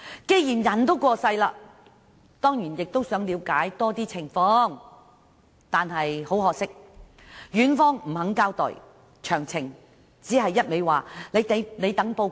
既然人已去世，家人自然想多了解有關情況，但院方不願交代詳情，要他們等候報告。